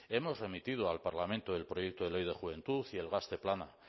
hemos remitido al parlamento el proyecto de ley de juventud y el gazte plana